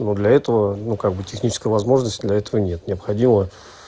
ну для этого ну как бы технической возможности для этого нет необходимо